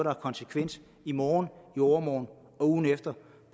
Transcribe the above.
har konsekvens i morgen i overmorgen